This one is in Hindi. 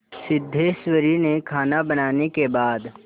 सिद्धेश्वरी ने खाना बनाने के बाद